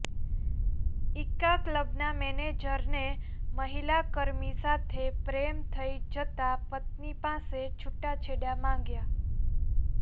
ઇકા ક્લબના મેનેજરને મહિલાકર્મી સાથે પ્રેમ થઈ જતાં પત્ની પાસે છૂટાછેડા માગ્યા